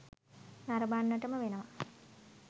නරඹන්නටම වෙනවා.